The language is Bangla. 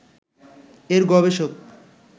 এর গবেষক